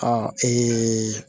Ɔ